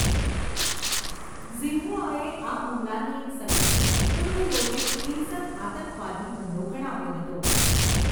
ઝિન્હુઆએ આ હુમલાને એક સંગઠિત, પૂર્વયોજિત હિંસક આતંકવાદી હુમલો ગણાવ્યો હતો.